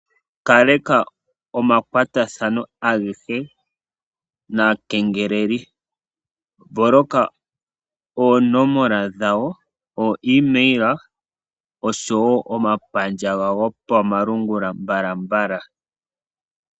Kaleka omakwatathano agehe naakengeleli. Mboloka oonomola dhawo, ooemail oshowo omapandja gawo gopamalungula mbalambala.